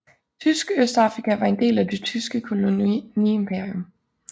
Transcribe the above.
Tysk Østafrika var en del af Det tyske koloniimperium